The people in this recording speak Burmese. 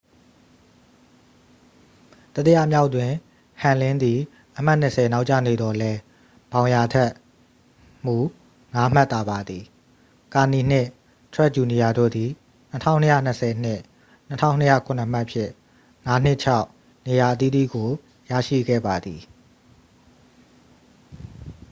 တတိယမြောက်တွင် ဟမ်လင်းသည် အမှတ်နှစ်ဆယ် နောက်ကျနေသော်လည်း ဘောင်ယာ ထက်မူ ငါးမှတ်သာပါသည် ကာနီနှင့် ထရက်ဂျူနီယာတို့သည် 2,220 နှင့် 2,207 မှတ်ဖြင့် ငါးနှင့်ခြောက် နေရာအသီးသီးကို ရရှိခဲ့ပါသည်